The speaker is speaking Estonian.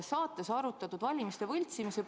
Saates arutati valimiste võltsimist.